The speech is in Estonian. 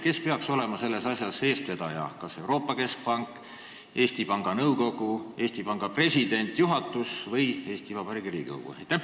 Kes peaks olema selles asjas eestvedaja – kas Euroopa Keskpank, Eesti Panga Nõukogu, Eesti Panga president, juhatus või Eesti Vabariigi Riigikogu?